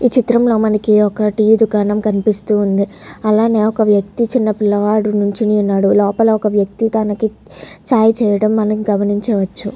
ఈ చిత్రంలో మనకి ఒక టీ దుకాణం కనిపిస్తుంది. అలానే ఒక వ్యక్తి చిన్నపిల్లవాడు నించొని ఉన్నాడు. లోపల ఒక వ్యక్తి తనకి చాయ్ చేయడం మనం గమనించవచ్చు.